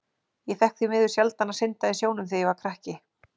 Ég fékk því miður sjaldan að synda í sjónum þegar ég var krakki.